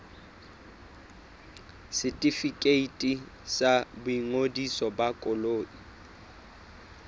setefikeiti sa boingodiso ba koloi